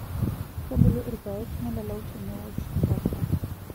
Kebulu irpaek nelalau te newoshu ntapuka.